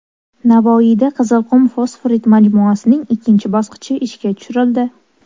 Navoiyda Qizilqum fosforit majmuasining ikkinchi bosqichi ishga tushirildi.